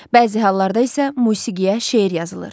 Bəzi hallarda isə musiqiyə şeir yazılır.